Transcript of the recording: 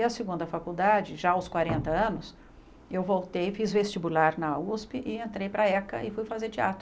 E a segunda faculdade, já aos quarenta anos, eu voltei, fiz vestibular na usp e entrei para a eca e fui fazer teatro.